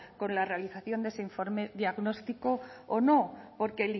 con la realización de este informe diagnóstico o no porque